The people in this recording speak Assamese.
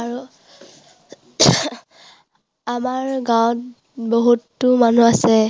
আৰু আমাৰ গাঁৱত বহুতো মানুহ আছে।